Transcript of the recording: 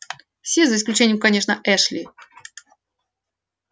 все за исключением конечно эшли